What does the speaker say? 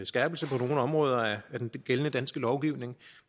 skærpelse på nogle områder af gældende dansk lovgivning